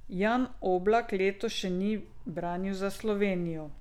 Jan Oblak letos še ni branil za Slovenijo.